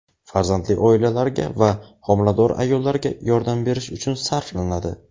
farzandli oilalarga va homilador ayollarga yordam berish uchun sarflanadi.